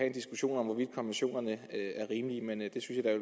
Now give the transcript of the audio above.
en diskussion om hvorvidt konventionerne er rimelige men jeg